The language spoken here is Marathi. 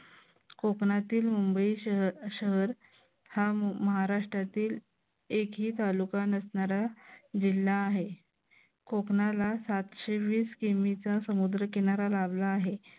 कोकणातील मुंबई शहर हा महाराष्ट्रातील एकही तालुका नसणारा जिल्हा आहे. कोकणाला सातशे वीस किमीचा समुद्र किनारा लाभला आहे.